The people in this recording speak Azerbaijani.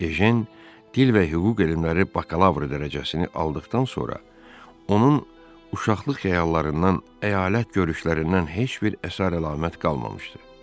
Ejen dil və hüquq elmləri bakalavr dərəcəsini aldıqdan sonra, onun uşaqlıq xəyallarından, əyalət görüşlərindən heç bir əsər-əlamət qalmamışdı.